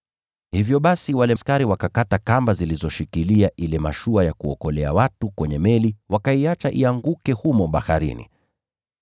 Hivyo basi wale askari wakakata kamba zilizoshikilia ile mashua ya kuokolea watu kwenye meli, wakaiacha ianguke humo baharini.